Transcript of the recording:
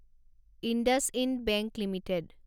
IndusInd bank limited